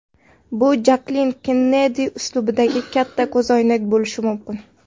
Bu Jaklin Kennedi uslubidagi katta ko‘zoynak bo‘lishi mumkin.